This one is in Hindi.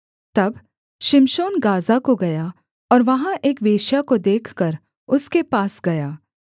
तब शिमशोन गाज़ा को गया और वहाँ एक वेश्या को देखकर उसके पास गया